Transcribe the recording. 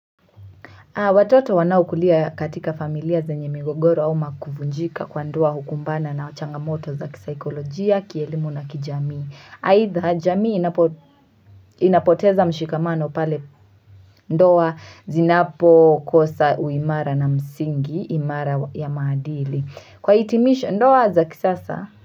Watoto wanaukulia katika familia za nye migogoro au makuvunjika kwa ndoa hukumbana na uchanga moto za kisaikolojia, kielimu na kijamii. Haitha, jamii inapoteza mshikamano pale ndoa zinapo kosa uimara na msingi, imara ya maadili. Kwa itimisho ndoa za kisasa.